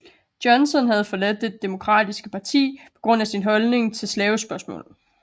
Johnson havde forladt det demokratiske parti på grund af sin holdning til slavespørgsmålet